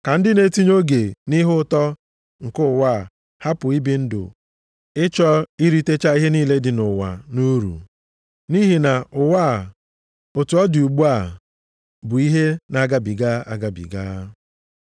Ka ndị na-etinye oge nʼihe ụtọ nke ụwa hapụ ibi ndụ ịchọ iritecha ihe niile dị nʼụwa nʼuru. Nʼihi na ụwa, otu ọ dị ugbu a, bụ ihe na-agabiga agabiga.